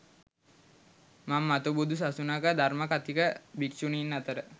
මම මතු බුදු සසුනක ධර්ම කථික භික්ෂුණීන් අතර